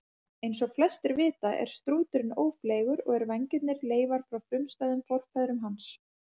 Eins og flestir vita er strúturinn ófleygur og eru vængirnir leifar frá frumstæðum forfeðrum hans.